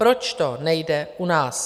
Proč to nejde u nás?